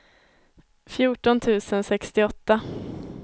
fjorton tusen sextioåtta